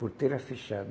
Porteira fechada.